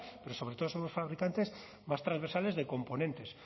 pero sobre todo somos fabricantes más transversales de componentes